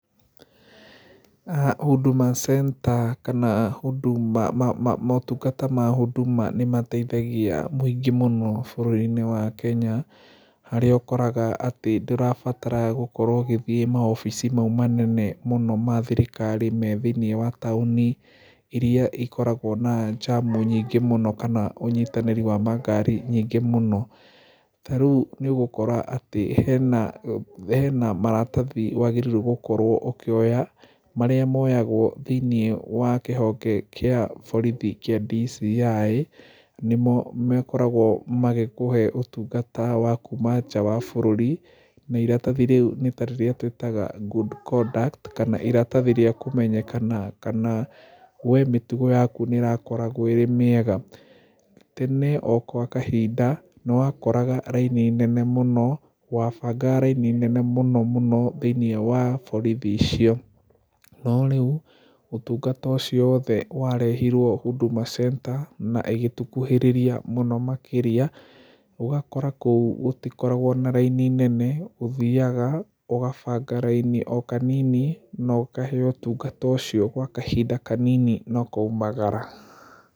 Huduma Center kana motungata ma Huduma nĩ mateithagia mũingĩ mũno bũrũri-inĩ wa Kenya. Harĩa ũkoraga atĩ ndũrabatara gũkorwo ũgĩthiĩ mawobici mau manene mũno ma thirikari me thĩiniĩ wa taũni irĩa ikoragwo na jam nyingĩ mũno kana ũnyitanĩri wa makaari nyingĩ mũno. Ta rĩu nĩ ũgũkora atĩ hena maratathi wagĩrĩirwo gũkorwo ũkĩoya, marĩa moyagwo thĩiniĩ wa kĩhonge kĩa borithi kĩa DCI. Nĩmo makoragwo magĩkũhe ũtungata wa kuma nja wa bũrũri, na iratathi rĩu nĩta rĩrĩa twĩtaga good conduct, kana iratathi rĩa kũmenyekana kana we mĩtugo nĩ ĩrakoragwo ĩrĩ mĩega. Tene o gwa kahinda nĩ wakoraga raini nene mũno, wabangaga raini nene mũno mũno thĩiniĩ wa borithi icio. No rĩu ũtungata ũcio wothe warehirwo Huduma Center na ĩgĩkuhĩrĩria mũno makĩria. Ũgakora kũu gũtikoragwo na raini nene, ũthiaga ũgabanga raini o kanini na ũkaheyo ũtungata ũcio gwa kahinda kanini na ũkaumagara.